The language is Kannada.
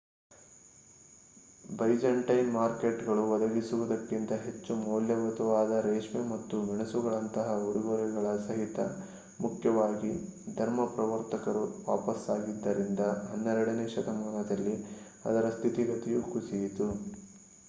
ಬೈಜಂಟೈನ್ ಮಾರ್ಕೆಟ್‌ಗಳು ಒದಗಿಸುವುದಕ್ಕಿಂತ ಹೆಚ್ಚು ಮೌಲ್ಯಯುತವಾದ ರೇಷ್ಮೆ ಮತ್ತು ಮೆಣಸುಗಳಂತಹ ಉಡುಗೊರೆಗಳ ಸಹಿತ ಮುಖ್ಯವಾಗಿ ಧರ್ಮಪ್ರವರ್ತಕರು ವಾಪಸಾಗಿದ್ದರಿಂದ ಹನ್ನೆರಡನೇ ಶತಮಾನದಲ್ಲಿ ಅದರ ಸ್ಥಿತಿಗತಿಯು ಕುಸಿಯಿತು